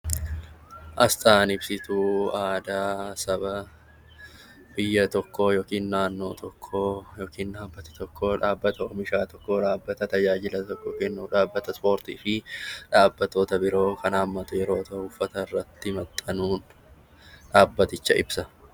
Asxaan ibsituu aadaa sabaa biyya tokkoo yookiin naannoo tokkoo dhaabbata tajaajila tokko kennuu dhaabbata ispoortii fi dhaabbilee biroo kan hammate yoo ta'u uffata irratti maxxanuun dhaabbaticha ibsa.